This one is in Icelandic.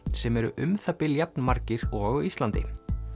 sem eru um það bil jafn margir og á Íslandi